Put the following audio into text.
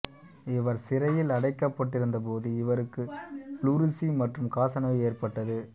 இவர் சிறையில் அடைக்கப்பட்டிருந்தபோது இவருக்கு ப்ளூரிசி மற்றும் காசநோய் ஏற்பட்டது